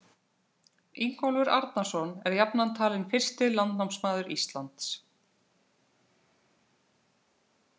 Ingólfur Arnarson er jafnan talinn fyrsti landnámsmaður Íslands.